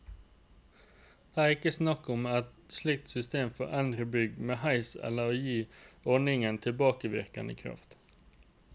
Det er ikke snakk om et slikt system for eldre bygg med heis eller å gi ordningen tilbakevirkende kraft.